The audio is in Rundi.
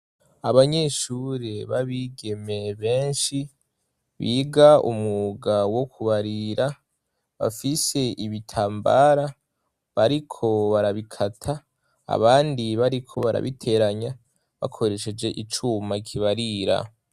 Abanyeshure babigeme benshi biga umwuga wo kubarira bafise ibitambara bariko barabikata abandi bariko barabiteranya bakoresheje icuma kibarira.